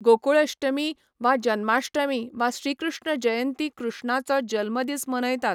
गोकुल अश्टमी वा जन्माश्टमी वा श्रीकृष्ण जयंती कृष्णाचो जल्मदीस मनयतात.